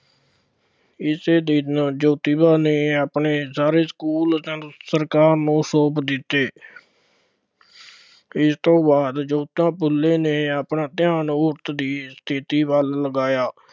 ਇਸੇ ਦਿਨ ਜੋਤੀਬਾ ਨੇ ਆਪਣੇ ਸਾਰੇ ਸਕੂਲ ਸੰਗ ਸਰਕਾਰ ਨੂੰ ਸੌਂਪ ਦਿੱਤੇ। ਇਸ ਤੋਂ ਬਾਅਦ ਜੋਤੀਬਾ ਫੂਲੇ ਨੇ ਆਪਣਾ ਧਿਆਨ ਔਰਤ ਦੀ ਸਥਿਤੀ ਵੱਲ ਲਗਾਇਆ।